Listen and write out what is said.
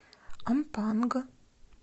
ампанг